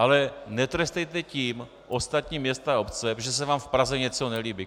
Ale netrestejte tím ostatní města a obce, protože se vám v Praze něco nelíbí.